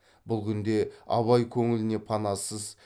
бұл күнде абай көңіліне панасыз